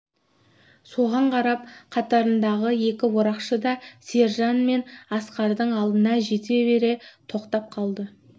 соған қарап қатарындағы екі орақшы да сержан мен асқардың алдына жете бере тоқтап қалды